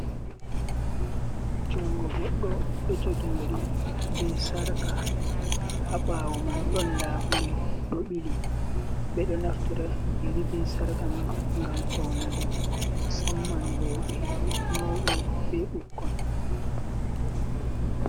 Jungo goɗɗo ɗo jogi yari be sarka, ha ɓawo man ɗon labule ɗo ɓili, ɓeɗo naftara yari be sarka man gam faunugo, musamman roɓe mauɓe be ɓukkon.